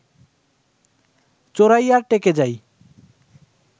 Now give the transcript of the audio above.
চোরাইয়ার টেকে যাই